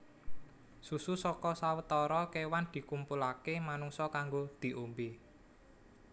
Susu saka sawetara kéwan dikumpulaké manungsa kanggo diombé